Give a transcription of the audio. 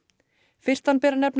fyrstan ber að nefna